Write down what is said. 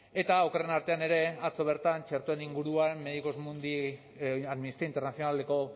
eta okerrenen artean ere atzo bertan txertoen inguruan amnistia internazionaleko